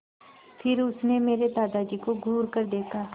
फिर उसने मेरे दादाजी को घूरकर देखा